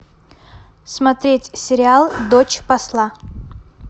смотреть сериал дочь посла